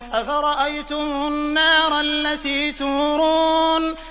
أَفَرَأَيْتُمُ النَّارَ الَّتِي تُورُونَ